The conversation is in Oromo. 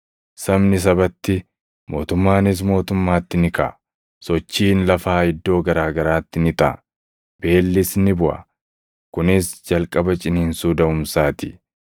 Sabni sabatti, mootummaanis mootummaatti ni kaʼa. Sochiin lafaa iddoo garaa garaatti ni taʼa; beellis ni buʼa. Kunis jalqaba ciniinsuu daʼumsaa ti.